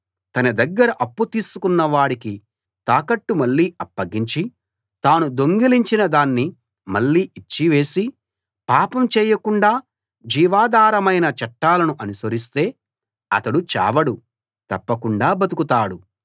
తన దగ్గర అప్పు తీసుకున్నవాడికి తాకట్టు మళ్ళీ అప్పగించి తాను దొంగిలించినదాన్ని మళ్ళీ ఇచ్చి వేసి పాపం చేయకుండా జీవాధారమైన చట్టాలను అనుసరిస్తే అతడు చావడు తప్పకుండా బతుకుతాడు